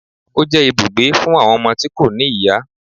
Ó jẹ́ ibùgbé fún àwọn ọmọ tí kò ní ìyá